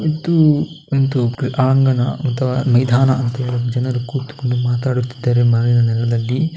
ಇದು ಒಂದು ಕ್ರೀಡಾಂಗಣ ಅಥವಾ ಮೈದಾನ ಅಂತ ಹೇಳಿ ಜನರು ಕೂತುಕೊಂಡು ಮಾತನಾಡುತ್ತಿದ್ದಾರೆ ಮರದ ನೆರಳಲ್ಲಿ .